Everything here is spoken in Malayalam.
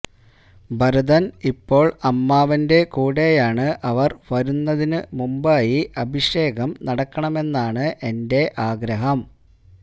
ഭരതന് ഇപ്പോള് അമ്മാവന്റെ കൂടെയാണ് അവര് വരുന്നതിന്നു മുമ്പായി അഭിഷേകം നടക്കണമെന്നാണ് എന്റെ ആഗ്രഹം